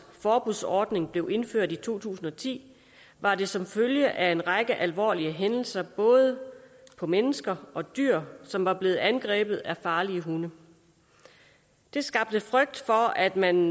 forbudsordning blev indført i to tusind og ti var det som følge af en række alvorlige hændelser både på mennesker og dyr som var blevet angrebet af farlige hunde det skabte frygt for at man